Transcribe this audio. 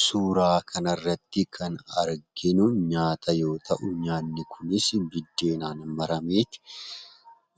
Suuraa kanarratti kan arginu nyaata yoo ta'u, nyaanni kunis biddeenaan marameet